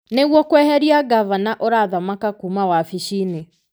nĩguo kweheria ngavana ũrathamaka kuuma wabici-inĩ.